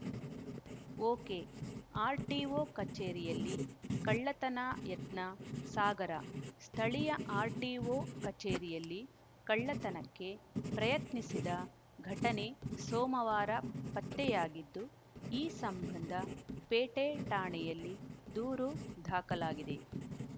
ಒಕೆಆರ್‌ಟಿಒ ಕಚೇರಿಯಲ್ಲಿ ಕಳ್ಳತನ ಯತ್ನ ಸಾಗರ ಸ್ಥಳೀಯ ಆರ್‌ಟಿಒ ಕಚೇರಿಯಲ್ಲಿ ಕಳ್ಳತನಕ್ಕೆ ಪ್ರಯತ್ನಸಿದ ಘಟನೆ ಸೋಮವಾರ ಪತ್ತೆಯಾಗಿದ್ದು ಈ ಸಂಬಂಧ ಪೇಟೆ ಠಾಣೆಯಲ್ಲಿ ದೂರು ದಾಖಲಾಗಿದೆ